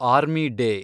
army day